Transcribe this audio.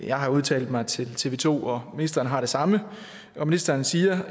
jeg har udtalt mig til tv to og ministeren har gjort det samme ministeren siger